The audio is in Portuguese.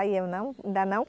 aí eu não não